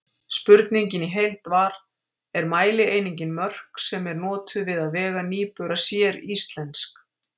Spurningin í heild var: Er mælieiningin mörk sem er notuð við að vega nýbura séríslensk?